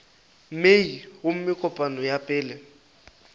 mei gomme kopano ya pele